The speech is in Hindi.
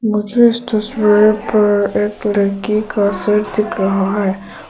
मुझे इस तस्वीर पर एक लड़की का सर दिख रहा है।